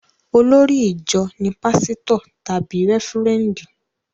Olórí ìjọ ní pásítọ̀ tàbí rẹ́fúrẹ́ndì